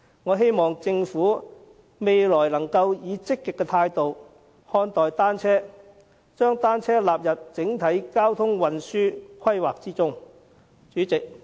我希望政府未來可以積極的態度看待單車，將單車納入整體交通運輸規劃之中。